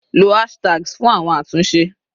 Lo hashtags fún àwọn àtúnṣe